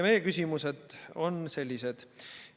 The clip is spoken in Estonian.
Meie küsimused on sellised.